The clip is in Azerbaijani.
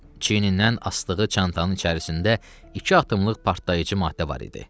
Çiyinindən asdığı çantanı içərisində iki atımlıq partlayıcı maddə var idi.